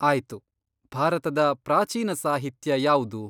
ಆಯ್ತು. ಭಾರತದ ಪ್ರಾಚೀನ ಸಾಹಿತ್ಯ ಯಾವ್ದು?